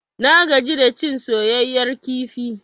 Na gaji da cin soyayyar kifi.